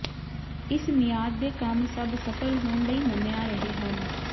ਇਸ ਮਿਆਦ ਦੇ ਕੰਮ ਸਭ ਸਫਲ ਹੋਣ ਲਈ ਮੰਨਿਆ ਰਹੇ ਹਨ